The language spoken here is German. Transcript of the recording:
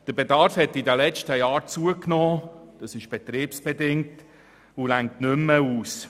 Der Bedarf hat in den letzten Jahren zugenommen – dies ist betriebsbedingt – und reicht nicht mehr aus.